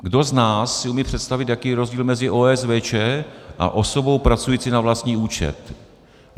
Kdo z nás si umí představit, jaký je rozdíl mezi OSVČ a osobou pracující na vlastní účet?